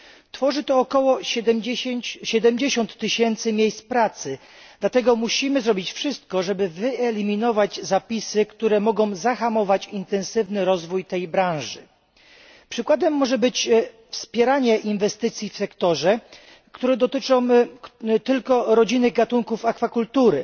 Tworzy on ok. 70 tys. miejsc pracy. Dlatego musimy zrobić wszystko, żeby wyeliminować zapisy, które mogą zahamować intensywny rozwój tej branży. Przykładem może być wspieranie inwestycji w sektorze, które dotyczą tylko rodzimych gatunków akwakultury.